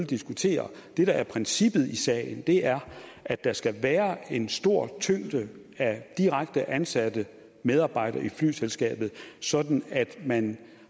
diskutere det der er princippet i sagen er at der skal være en stor tyngde af direkte ansatte medarbejdere i flyselskabet sådan at man